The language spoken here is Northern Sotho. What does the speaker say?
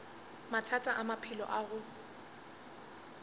mathata a maphelo a go